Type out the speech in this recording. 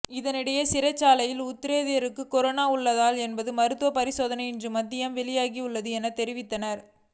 இதனிடையே சிறைச்சாலை உத்தியோகத்தருக்கு கொரோனா உள்ளதா என்ற மருத்துவ பரிசோதனை இன்று மதியம் வெளியாகும் எனவும் தெரிவித்தனர்